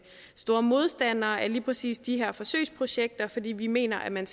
store modstandere af lige præcis de her forsøgsprojekter fordi vi mener at man